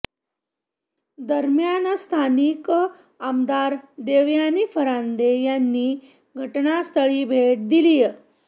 दरम्यान स्थानिक आमदार देवयानी फरांदे यांनी घटनास्थळी भेट दिलीय